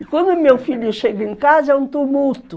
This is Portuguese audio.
E quando meu filho chega em casa, é um tumulto.